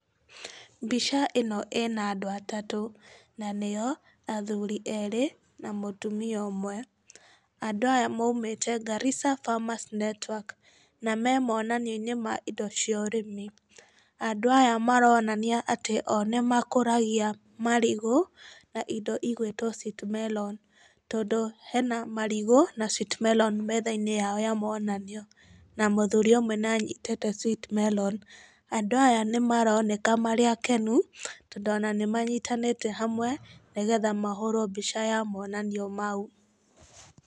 Mbica ĩno ĩna andũ atatũ na nĩo, athũri erĩ na mũtumia ũmwe, andũ aya maũmĩte Garrisa Farmers Network na me monanioine ma indo cia ũrĩmi, andũ aya maronania atĩ o nĩ makoragia marigũ na indo igwĩtwo sweet melon tondũ hena marigũ na sweet melon metha-inĩ yao ya monanio, na mũthuri ũmwe nĩ anyitĩte sweet melon. Andũ aya nĩ maroneka marĩ akenu, tondũ ona nĩ manyitanĩte hamwe, nĩgetha mahũrwo mbica ya monanio mau.